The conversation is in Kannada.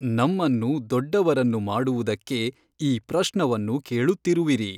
ನಮ್ಮನ್ನು ದೊಡ್ಡವರನ್ನು ಮಾಡುವುದಕ್ಕೆ ಈ ಪ್ರಶ್ನವನ್ನು ಕೇಳುತ್ತಿರುವಿರಿ.